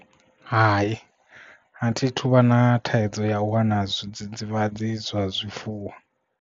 Hai a thi thuvha na thaidzo ya u wana zwidzidzivhadzi zwa zwifuwo.